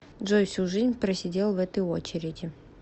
джой всю жизнь просидел в этой очереди